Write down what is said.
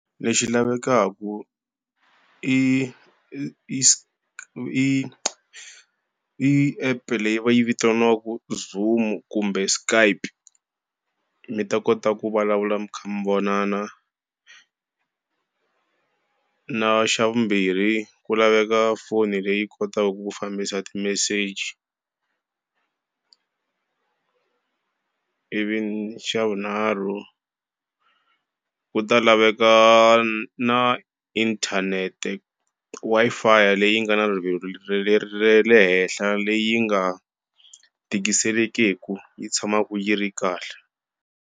Lexi lavekaka i i i i app-e leyi va yi vitaniwaka Zoom-u kumbe Skype. Mi ta kota ku vulavula mi kha mi vonana. Na xa vumbirhi ku laveka foni leyi kotaka ku fambisa ti-message. Ivi xa vunharhu, ku ta laveka na inthanete Wi-Fi leyi nga na rivilo ra le henhla leyi nga tikiselekeku yi tshamaku yi ri kahle.